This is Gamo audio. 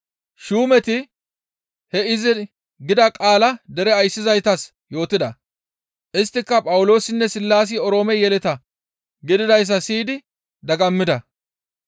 Shuumeti he izi gida qaalaa dere ayssizaytas yootida; isttika Phawuloosinne Sillaasi Oroome yeleta gididayssa siyidi dagammida.